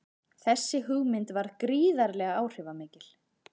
Þessi hugmynd varð gríðarlega áhrifamikil.